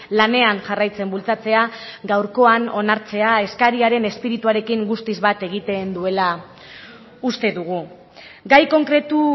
lanean jarraitzen bultzatzea gaurkoan onartzea eskariaren espirituarekin guztiz bat egiten duela uste dugu gai konkretu